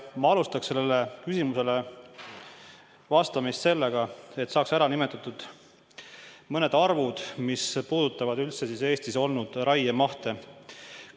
Ma alustaksin sellele küsimusele vastamist sellega, et nimetaks ära mõned arvud, mis puudutavad üldse Eesti raiemahte.